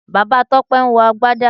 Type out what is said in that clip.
Bàbá Tọ́pẹ́ ń wọ Agbádá